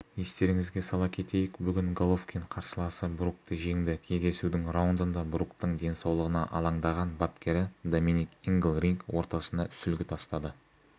естеріңізге сала кетейік бүгін головкин қарсыласы брукті жеңді кездесудің раундында бруктың денсаулығына алаңдаған бапкері доминик ингл ринг ортасына сүлгі тастады